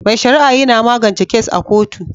Mai sharia yina magance kes a kotu